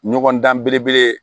Ɲɔgɔn dan belebele